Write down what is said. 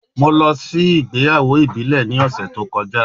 Mo lọ si igbeyawo ibile ni ọsẹ to kọja